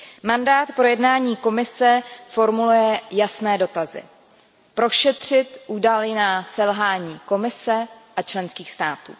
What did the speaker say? Mandát pro jednání Komise formuluje jasné dotazy prošetřit údajná selhání Komise a členských států.